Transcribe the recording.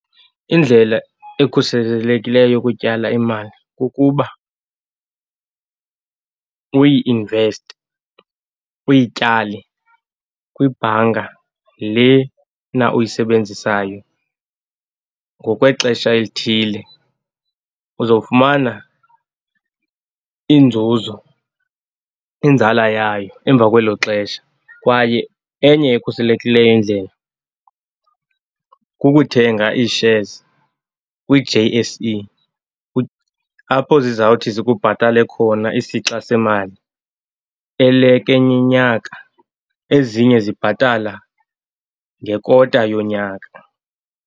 Indlela ekhuselelekileyo yokutyala imali kukuba uyi-investe, uyityale kwibhanka lena uyisebenzisayo ngokwexesha elithile. Uzowufumana inzuzo, inzala yayo emva kwelo xesha, kwaye enye ekhuselekileyo indlela kukuthenga ii-shares kwi-J_S_E apho zizawuthi zikubhatale khona isixa semali eleke eyinyaka. Ezinye zibhatala ngekota yonyaka.